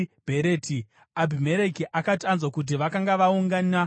Abhimereki akati anzwa kuti vakanga vakaungana ipapo,